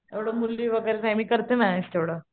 एवढं मुली वैगेरे नाही मी करते मॅनेज तेवढं.